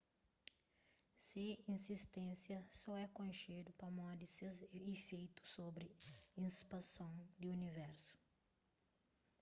se izisténsia so é konxedu pamodi ses ifeitu sobri ispanson di universu